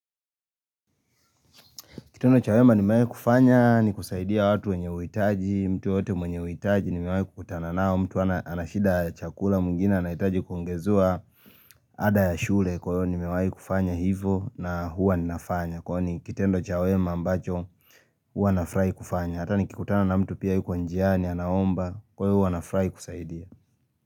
Kitendo cha wema nimewahi kufanya ni kusaidia watu wenye uhitaji, mtu yoteyote mwenye wuitaji nimewai kukutana nao, mtu anashida chakula mwingine anahitaji kuongezewa ada ya shule kwa hiyo ni mewai kufanya hivo na huwa ninafanya. Kwani ni kitendo chawema ambacho huwa na furagu kufanya. Hata ni kikutana na mtu pia yuko njiani anaomba kuyo huwa nafurahi kusaidia.